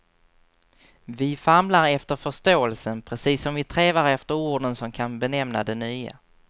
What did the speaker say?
Vi famlar efter förståelsen, precis som vi trevar efter orden som kan benämna det nya.